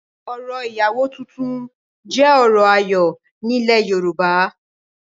orò ìyàwó tuntun jẹ́ orò ayọ̀ ní ilẹ̀ yorùbá